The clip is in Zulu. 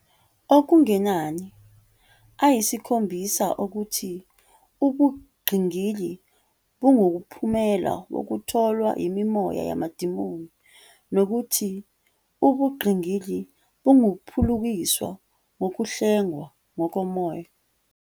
okungenani ayisikhombisa okuthi ubungqingili bungumphumela wokutholwa yimimoya yamademoni nokuthi ubungqingili bungaphulukiswa ngokuhlengwa ngokomoya.